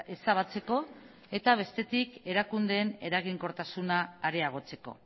ezabatzeko eta bestetik erakundeen eraginkortasuna areagotzeko